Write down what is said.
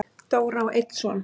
Dóra á einn son.